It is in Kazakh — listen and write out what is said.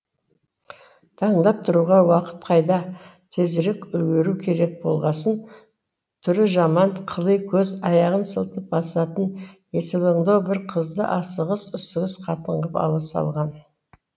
таңдап талғауға уақыт қайда тезірек үлгеру керек болғасын түрі жаман қыли көз аяғын сылтып басатын есалаңдау бір қызды асығыс үсігіс қатын ғып ала салған